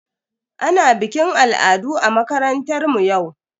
Ana bikin al'adu a makarantar mu yau.